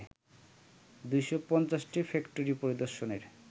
২৫০টি factory পরিদর্শনের